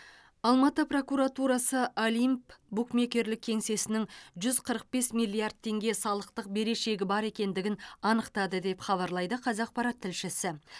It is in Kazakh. алматы прокуратурасы олимп букмекерлік кеңсесінің жүз қырық бес миллиард теңге салықтық берешегі бар екендігін анықтады деп хабарлайды қазақпарат тілшісі